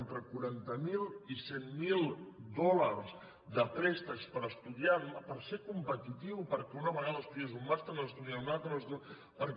entre quaranta miler i cent miler dòlars de préstecs per estudiar per ser competitiu perquè una vegada estudies un màster n’has d’estudiar un altre